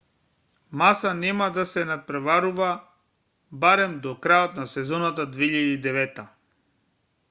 маса нема да се натпреварува барем до крајот на сезоната 2009